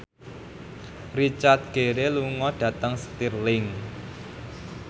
Richard Gere lunga dhateng Stirling